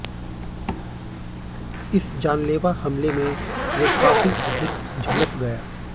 इस जानलेवा हमले में वो काफ़ी अधिक झुलस गया